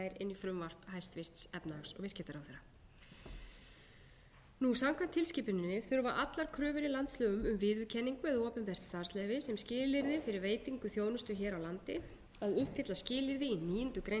í frumvarp hæstvirts efnahags og viðskiptaráðherra samkvæmt tilskipuninni þurfa allar kröfur í landslögum um viðurkenningu eða opinbert starfsleyfi sem skilyrði fyrir veitingu þjónustu hér á landi að uppfylla kröfur í níundu grein